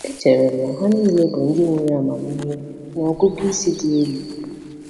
Echere m na ha niile bụ ndị nwere amamihe na ọgụgụ isi dị elu.